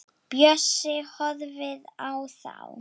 Bjössi horfir á þá.